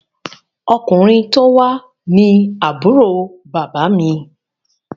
Ọkùnrin tó wá ní Àbúrò bàbá mi